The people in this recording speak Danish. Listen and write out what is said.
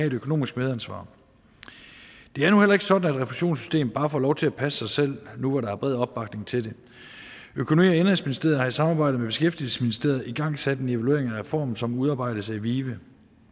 et økonomisk medansvar det er nu heller ikke sådan at refusionssystemet bare får lov til at passe sig selv nu hvor der er bred opbakning til det økonomi og indenrigsministeriet har i samarbejde med beskæftigelsesministeriet igangsat en evaluering af reformen som udarbejdes af vive